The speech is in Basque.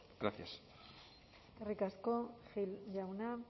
gracias eskerrik asko gil jauna